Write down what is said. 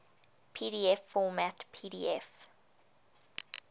pdf format pdf